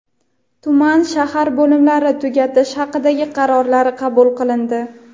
tuman (shahar) bo‘limlarini tugatish haqidagi qarorlari qabul qilindi.